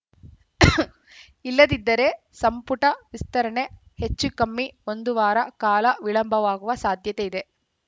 ಇಲ್ಲದಿದ್ದರೆ ಸಂಪುಟ ವಿಸ್ತರಣೆ ಹೆಚ್ಚುಕಮ್ಮಿ ಒಂದು ವಾರ ಕಾಲ ವಿಳಂಬವಾಗುವ ಸಾಧ್ಯತೆಯಿದೆ